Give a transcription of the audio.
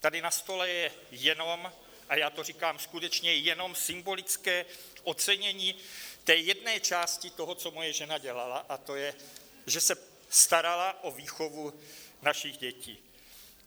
Tady na stole je jenom, a já to říkám, skutečně jenom symbolické ocenění té jedné části toho, co moje žena dělala, a to je, že se starala o výchovu našich dětí.